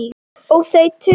Og þau töl